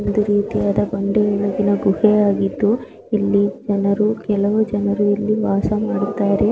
ಇದು ಒಂದು ರೀತಿಯಾದ ಬಂಡೆಯೊಳಗಿನ ಗುಹೆ ಆಗಿದ್ದು ಇಲ್ಲಿ ಜನರು ಕೆಲವು ಜನರು ಇಲ್ಲಿ ವಾಸ ಮಾಡುತ್ತಾರೆ.